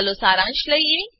ચાલો સારાંશ લઈએ